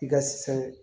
I ka fɛn